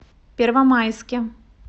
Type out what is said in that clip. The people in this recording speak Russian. первомайске